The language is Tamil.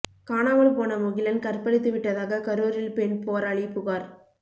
காணாமல் போன முகிலன் கற்பழித்து விட்டதாக கரூரில் பெண் போராளி புகார்